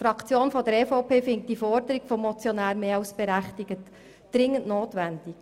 Die EVP-Fraktion findet die Forderung des Motionärs mehr als berechtigt und hält sie für dringend notwendig.